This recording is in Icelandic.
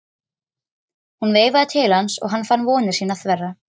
Hún veifaði til hans og hann fann vonir sínar þverra.